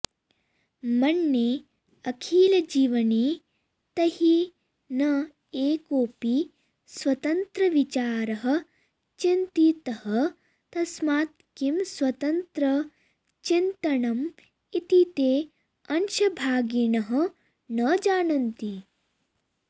मन्ये अखिलजीवने तैः न एकोऽपि स्वतन्त्रविचारः चिन्तितः तस्मात् किं स्वतन्त्रचिन्तनम् इति ते अंशभागिनः न जानन्ति